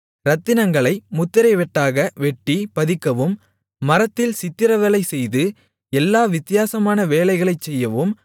இரத்தினங்களை முத்திரை வெட்டாக வெட்டிப் பதிக்கவும் மரத்தில் சித்திரவேலை செய்து எல்லா வித்தியாசமான வேலைகளைச் செய்யவும்